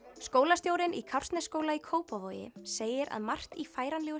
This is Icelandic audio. skólastjórinn í Kársnesskóla í Kópavogi segir að margt í færanlegu